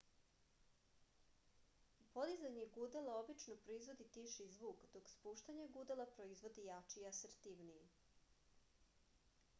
podizanje gudala obično proizvodi tiši zvuk dok spuštanje gudala proizvodi jači i asertivniji